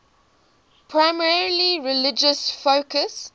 primarily religious focus